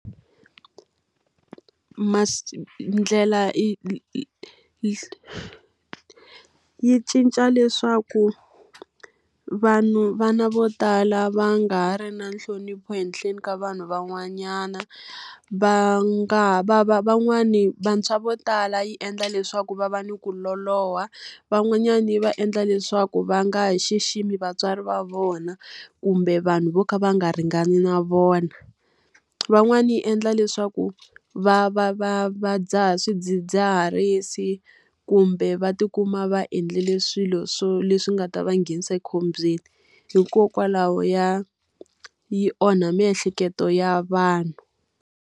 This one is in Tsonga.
Ndlela yi cinca leswaku vanhu vana vo tala va nga ha ri na nhlonipho ehenhleni ka vanhu van'wanyana, va nga ha va va van'wani vantshwa vo tala yi endla leswaku va va ni ku loloha. Van'wanyani yi va endla leswaku va nga ha xiximi vatswari va vona kumbe vanhu vo ka va nga ringani na vona. Van'wani yi endla leswaku va va va va dzaha swidzidziharisi, kumbe va ti kuma va endlile swilo swo leswi nga ta va nghenisa ekhombyeni. Hikokwalaho ya yi onha miehleketo ya vanhu.